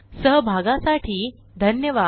सहभागासाठी धन्यवाद